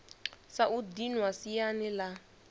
sa u dinwa siani la